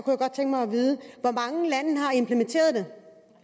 hvor mange lande